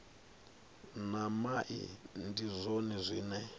na mai ndi zwone zwine